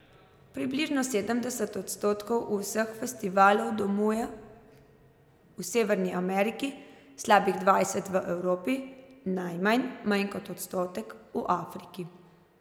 Približno sedemdeset odstotkov vseh festivalov domuje v Severni Ameriki, slabih dvajset v Evropi, najmanj, manj kot odstotek, v Afriki.